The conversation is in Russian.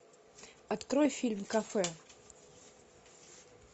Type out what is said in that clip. открой фильм кафе